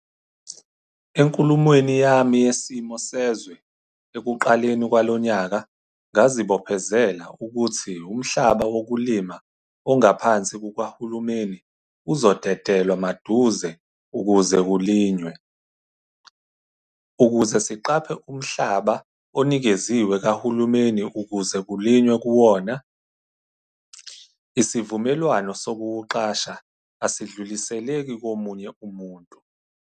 Enkulumweni yami Yesimo Sezwe ekuqaleni kwalo nyaka ngazibophezela ukuthi umhlaba wokulima ongaphansi kukahulumeni uzodede lwamaduze ukuze kulinywe. Ukuze siqaphe umhlaba onikeziwe kahulumeni ukuze kulinywe kuwona, isivumelwano sokuwuqasha asidluliseleki komunye umuntu.